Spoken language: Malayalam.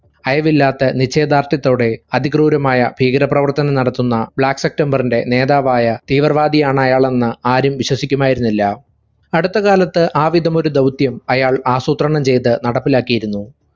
അയവില്ലാത്ത നിശ്ചയദാർഢ്യത്തോടെ അതിക്രൂരമായ ഭീകര പ്രവർത്തനം നടത്തുന്ന black september ഇന്റെ നേതാവായ തീവ്രവാദിയാണയാളെന്ന് ആരും വിശ്വസിക്കുമായിരുന്നില്ല. അടുത്തകാലത്തു ആവിധമൊരു ദൗത്യം അയാൾ ആസൂത്രണംചെയ്ത് നടപ്പിലാക്കിയിരുന്നു.